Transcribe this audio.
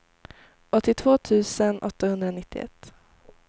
åttiotvå tusen åttahundranittioett